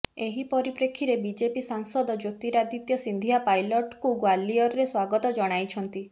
ଏହି ପରିପ୍ରେକ୍ଷୀରେ ବିଜେପି ସାଂସଦ ଜ୍ୟୋତିରାଦିତ୍ୟ ସିନ୍ଧିଆ ପାଇଲଟ୍ଙ୍କୁ ଗ୍ବାଲିୟରରେ ସ୍ବାଗତ ଜଣାଇଛନ୍ତି